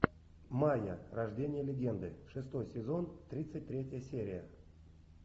майа рождение легенды шестой сезон тридцать третья серия